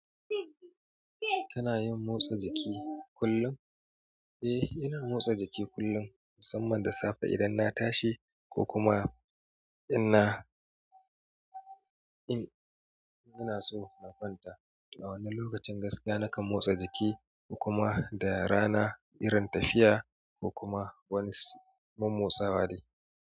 Kana yin motsa jiki kullun eh ina motsa jiki kullun musamman da safe idan na tashi ko kuma ina so na kwanta. A wannan lokacin gaskiya nakan motsa jiki ko kuma da rana irin tafiya ko kuma wani mommotsawa dai.